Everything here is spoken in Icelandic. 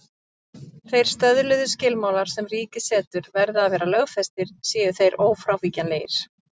Þeir stöðluðu skilmálar sem ríkið setur verða að vera lögfestir séu þeir ófrávíkjanlegir.